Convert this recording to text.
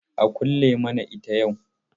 A kulle mana ita yau.